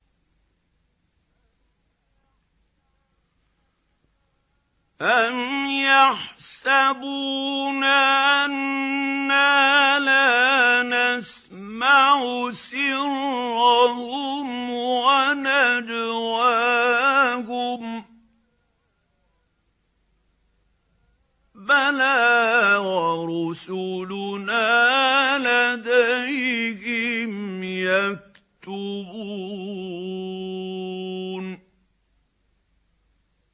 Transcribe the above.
أَمْ يَحْسَبُونَ أَنَّا لَا نَسْمَعُ سِرَّهُمْ وَنَجْوَاهُم ۚ بَلَىٰ وَرُسُلُنَا لَدَيْهِمْ يَكْتُبُونَ